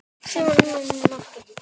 Skalli í slá eða mark?